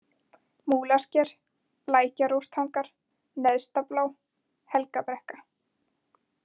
Múlasker, Lækjaróstangar, Neðstablá, Helgabrekka